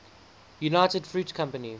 united fruit company